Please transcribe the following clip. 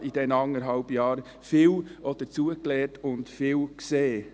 Ich habe in diesen anderthalb Jahren viel dazugelernt und viel gesehen.